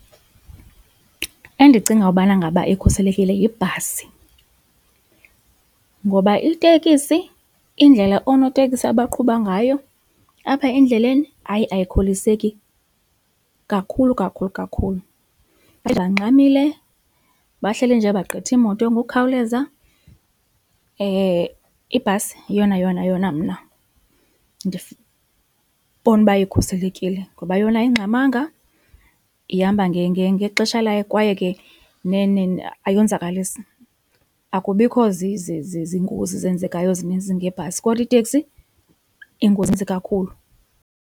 Endicinga ubana ngaba ikhuselekile yibhasi, ngoba itekisi indlela onoteksi abaqhuba ngayo apha endleleni hayi ayikholiseki kakhulu kakhulu kakhulu. Bahleli nje bangxamile, bahleli nje bagqitha iimoto ngokukhawuleza ibhasi yona yona yona mna ndibona uba ikhuselekile ngoba yona ayingxamanga ihamba ngexesha layo kwaye ke ayonzakalisi. Akubikho zingozi zenzekayo zininzi ngebhasi, kodwa iiteksi ingozi ininzi kakhulu.